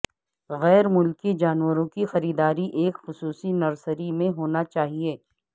غیر ملکی جانوروں کی خریداری ایک خصوصی نرسری میں ہونا چاہئے